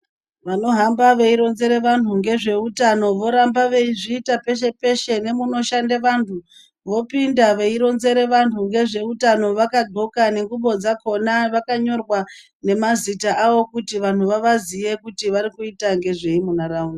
Vanohamba veironzere vanhu ngezveutano, voramba veizviita peshe-peshe, nemunoshande vanhu, vopinda veironzere vanhu nezveutano, vakadxoka nengxubo dzakhona, vakanyorwa nemazita avo, kuti vanhu vavaziye kuti vari kuita ngezvei munharaunda.